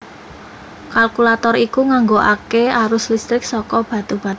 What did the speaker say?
Kalkulator iku nganggokaké arus listrik saka batu baterai